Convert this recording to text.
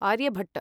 Aryabhata